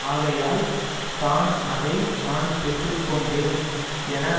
ஆகையால் தான் அதை நான் பெற்றுக்கொண்டேன் என